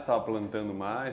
Estava plantando mais?